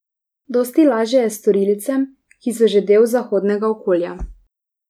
Dosti lažje je storilcem, ki so že del zahodnega okolja.